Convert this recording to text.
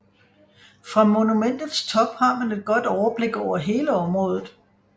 Fra monumentets top har man et godt overblik over hele området